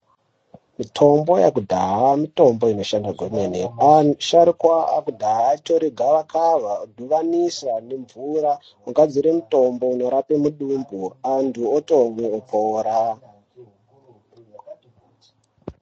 Mitombo yakudhaha mitombo inoshanda kwemene asharukwa akudhaha ayi tore gava kava vo dhibanisa ne mvura ogadzire mutombo unorape mudumbu antu otomwe opora.